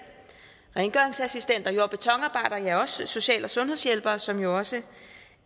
rengøringsassistenter jord og betonarbejdere og også social og sundhedshjælpere som jo også